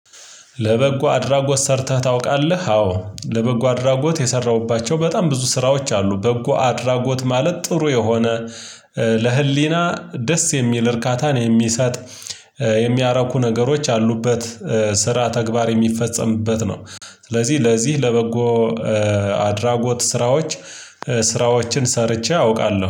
ለበጎ አድራጎት ሰርተህ ታውቃለህ? አዎ ለበጎ አድራጎት የሰራሁባቸው በጣም ብዙ ስራዎች አሉ በጎ አድራጎት ማለት ጥሩ የሆነ ለህሊና ደስ የሚል እርካታን የሚሰጥ የሚያረኩ ነገሮች ያሉበት ስራ ተግባር የሚፈጸምበት ነው። ስለዚህ ለዚህ ለበጎ አድራጎት ስራዎች ስራዎችን ሰርቼ አውቃለሁ።